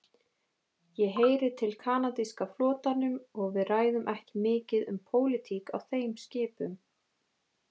Ég heyri til kanadíska flotanum og við ræðum ekki mikið um pólitík á þeim skipum.